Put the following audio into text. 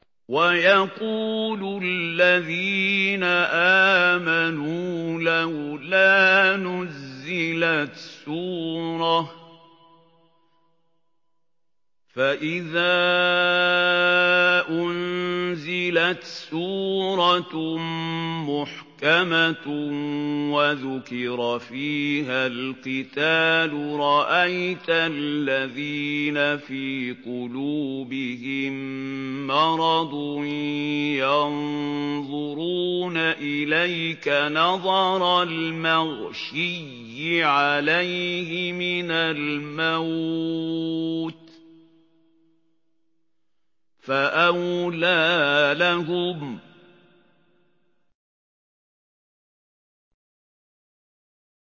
وَيَقُولُ الَّذِينَ آمَنُوا لَوْلَا نُزِّلَتْ سُورَةٌ ۖ فَإِذَا أُنزِلَتْ سُورَةٌ مُّحْكَمَةٌ وَذُكِرَ فِيهَا الْقِتَالُ ۙ رَأَيْتَ الَّذِينَ فِي قُلُوبِهِم مَّرَضٌ يَنظُرُونَ إِلَيْكَ نَظَرَ الْمَغْشِيِّ عَلَيْهِ مِنَ الْمَوْتِ ۖ فَأَوْلَىٰ لَهُمْ